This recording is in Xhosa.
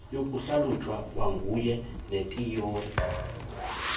yokuhlalutya kwakuunye nethiyori